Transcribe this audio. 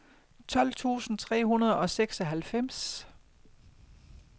tolv tusind tre hundrede og seksoghalvfems